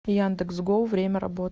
яндекс гоу время работы